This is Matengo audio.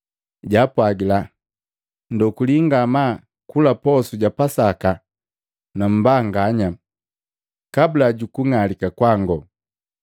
Jaapwagila, “Ndokuli ngamaa kula posu ja Pasaka nu mbanganya kabula juku ng'alika kwango!